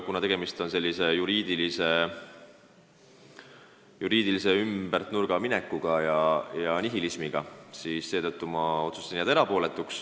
Kuna tegemist on juriidilise ümbernurgaminekuga ja nihilismiga, siis ma otsustasin jääda erapooletuks.